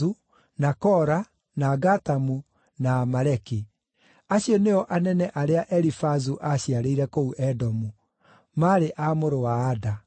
na Kora, na Gatamu, na Amaleki. Acio nĩo anene arĩa Elifazu aaciarĩire kũu Edomu; maarĩ a mũrũ wa Ada.